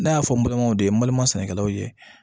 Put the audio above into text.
Ne y'a fɔ n balimaw de ye n balima sɛnɛkɛlaw ye